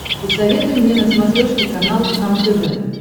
посоветуй мне на смотрешке канал кхлм тв